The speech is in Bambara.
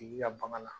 I ka bagan na